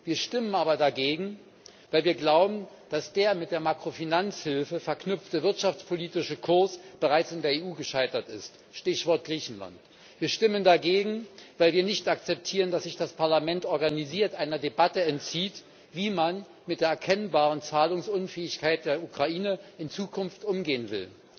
Wir stimmen aber dagegen, weil wir glauben, dass der mit der Makrofinanzhilfe verknüpfte wirtschaftspolitische Kurs bereits in der EU gescheitert ist, Stichwort Griechenland. Wir stimmen dagegen, weil wir nicht akzeptieren, dass sich das Parlament organisiert einer Debatte entzieht, wie man mit der erkennbaren Zahlungsunfähigkeit der Ukraine in Zukunft umgehen will.